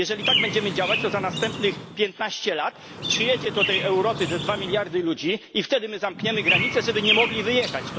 Jeżeli tak będziemy działać, to za następnych piętnaście lat przyjadą do tej Europy dwa miliardy ludzi i wtedy my zamkniemy granice, żeby nie mogli stąd wyjechać.